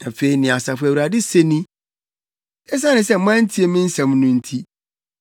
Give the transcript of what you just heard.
Afei nea Asafo Awurade se ni: “Esiane sɛ moantie me nsɛm no nti,